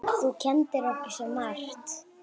Þú kenndir okkur svo margt.